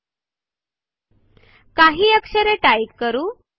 आणखी काही अक्षरे टाइप करू